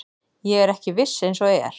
Ég er ekki viss eins og er.